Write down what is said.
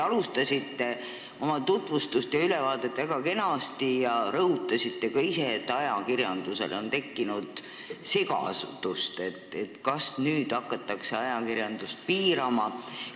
Te alustasite oma tutvustust ja ülevaadet väga kenasti ja rõhutasite ka ise, et ajakirjanduses on tekkinud segadus – kas nüüd hakatakse ajakirjandust piirama?